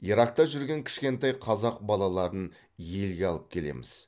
иракта жүрген кішкентай қазақ балаларын елге алып келеміз